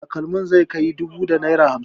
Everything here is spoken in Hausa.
Takalmi zai kai naira dubu da naira hamsin.